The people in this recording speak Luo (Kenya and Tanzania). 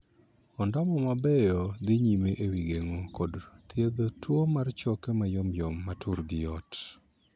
Ondamo mabeyo dhii nyime e wii geng'o kod thiedho tuo mar choke mayomyom ma turgi yot.